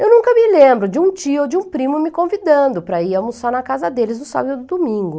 Eu nunca me lembro de um tio ou de um primo me convidando para ir almoçar na casa deles no sábado e no domingo.